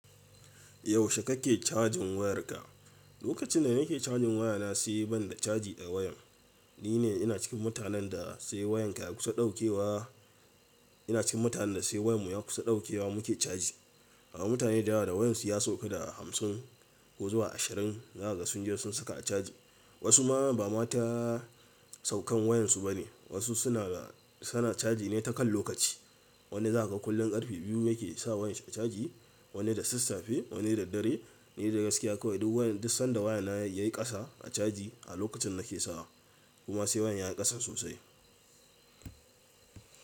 Yaushe kake cajin wayarka? Lokacin da nake cajin wayana sai banda caji a wayan. Ni ne ina cikin mutanen da sai wayan ya kusa dauke wa, ina cikin mutanen da sai wayan mu ya kusa dauke wa muke caji. Amma mutane da dama da wayan su ya sauƙa da hamsin ko zuwa ashirin, za kaga sun je sun saka a caji. Wasu ma ba mata saukan wayan su bane. Wasu suna, suna caji ne ta kan lokaci. Wani zaka ga kullum karfe biyu yake sa wayan shi a caji, wani da sassafe, wani da dare. Ni dai gaskiya kawai duk wayan, duk sanda wayana yayi ƙasa a caji a lokacin nake sawa. Kuma sai wayan ya yi ƙasa sosai.